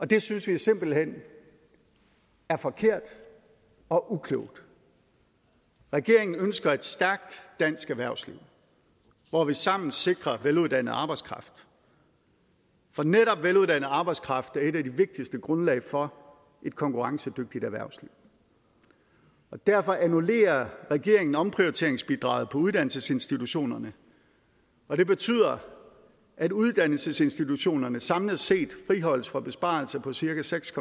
det synes vi simpelt hen er forkert og uklogt regeringen ønsker et stærkt dansk erhvervsliv hvor vi sammen sikrer veluddannet arbejdskraft for netop veluddannet arbejdskraft er et af de vigtigste grundlag for et konkurrencedygtigt erhvervsliv derfor annullerer regeringen omprioriteringsbidraget på uddannelsesinstitutionerne og det betyder at uddannelsesinstitutionerne samlet set friholdes for besparelser på cirka seks